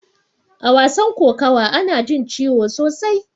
A wasan kokawa ana jin ciwo sosai.